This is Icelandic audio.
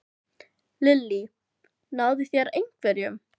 Lillý: Náðu þeir einhverjum?